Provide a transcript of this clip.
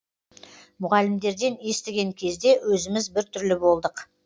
мұғалімдерден естіген кезде өзіміз біртүрлі болдық